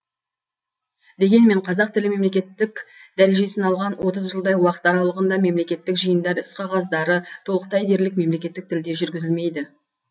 дегенмен қазақ тілі мемлекеттік дәрежесін алған отыз жылдай уақыт аралығында мемлекеттік жиындар іс қағаздары толықтай дерлік мемлекеттік тілде жүргізілмейді